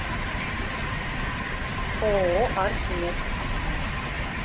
ооо архи мед